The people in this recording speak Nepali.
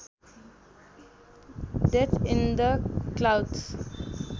death in the clouds